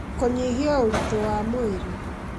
kũnyihia ũritũ wa mwĩrĩ